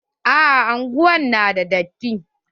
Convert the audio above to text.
A'a unguwar na da datti.